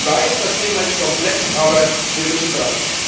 Ich weiß, das Thema ist komplex. Aber wir müssen dranbleiben.